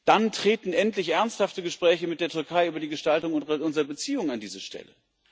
Dann treten endlich ernsthafte Gespräche mit der Türkei über die Gestaltung unserer Beziehungen an diese Stelle.